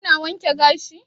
Kina wanke gashi?